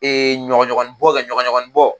E ɲɔgɔnɲɔgɔnninbɔ kɛ ɲɔgɔnɲɔgɔnninbɔ